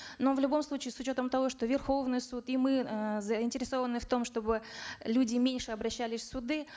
но в любом случае с учетом того что верховный суд и мы э заинтересованы в том чтобы люди меньше обращались в суды